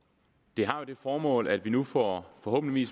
det har jo det formål at vi nu forhåbentlig i